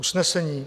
Usnesení